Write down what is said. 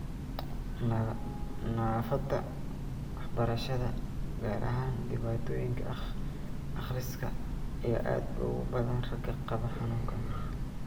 Naafada waxbarashada, gaar ahaan dhibaatooyinka akhriska, ayaa aad ugu badan ragga qaba xanuunkaan.